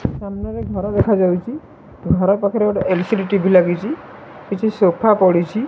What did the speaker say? ସାମ୍ନାରେ ଘର ଦେଖାଯାଉଛି ଘର ପାଖରେ ଗୋଟେ ଏଲ ସି ଡ଼ି ଟିଭି ଲାଗିଚି କିଛି ସୋଫା ପଡିଚି ।